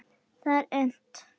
Það er unnt.